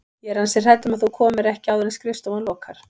Ég er ansi hrædd um að þú komir ekki áður en skrifstofan lokar